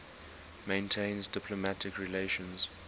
maintains diplomatic relations